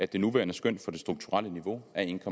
det nuværende skøn for det strukturelle niveau er en